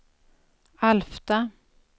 Alfta